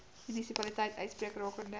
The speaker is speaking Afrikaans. munisipaliteit uitspreek rakende